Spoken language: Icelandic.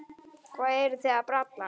Hvað eruð þið að bralla?